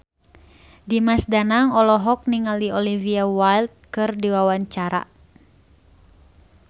Dimas Danang olohok ningali Olivia Wilde keur diwawancara